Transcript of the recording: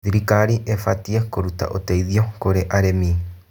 Thirikari ĩbatiĩ kũruta ũteithio kũrĩ arĩmi.